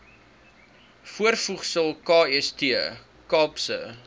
voorvoegsel kst kaapse